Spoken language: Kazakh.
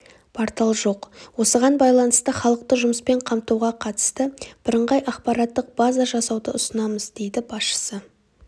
портал жоқ осыған байланысты халықты жұмыспен қамтуға қатысты біріңғай ақпараттық база жасауды ұсынамыз дейді басшысы